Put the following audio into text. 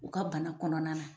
U ka bana kɔnɔna na